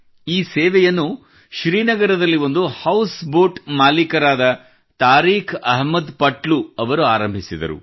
ಈ ಸೇವೆಯನ್ನು ಶ್ರೀನಗರದಲ್ಲಿ ಒಂದು ಹೌಸ್ ಬೋಟ್ ಮಾಲೀಕರಾದ ತಾರೀಖ್ ಅಹಮದ್ ಪಟ್ಲೂ ಅವರು ಆರಂಭಿಸಿದರು